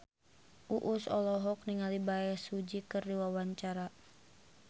Uus olohok ningali Bae Su Ji keur diwawancara